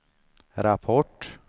rapport